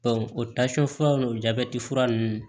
o furaw n'o jabɛti fura nunnu